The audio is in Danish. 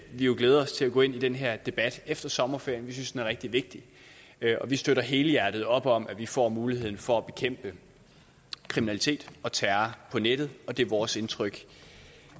vi jo glæder os til at gå ind i den her debat efter sommerferien vi synes den er rigtig vigtig og vi støtter helhjertet op om at vi får muligheden for at bekæmpe kriminalitet og terror på nettet og det er vores indtryk